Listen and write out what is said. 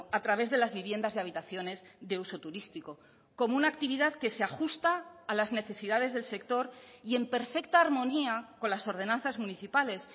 a través de las viviendas y habitaciones de uso turístico como una actividad que se ajusta a las necesidades del sector y en perfecta armonía con las ordenanzas municipales